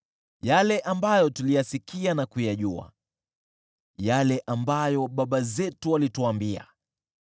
yale ambayo tuliyasikia na kuyajua, yale ambayo baba zetu walituambia.